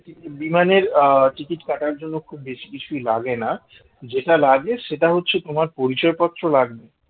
বিমানের আহ ticket কাটার জন্য খুব বেশি কিছুই লাগে না যেটা লাগে সেটা হচ্ছে তোমার পরিচয় পত্র লাগবে